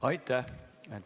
Aitäh!